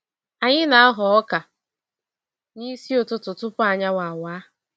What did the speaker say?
Anyi na aghọ ọka n'isi ụtụtụ tupu anyanwụ awa.